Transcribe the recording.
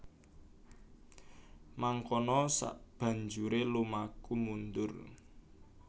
Mangkono sabanjure lumaku mundur